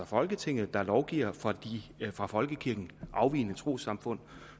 folketinget der lovgiver for de fra folkekirken afvigende trossamfund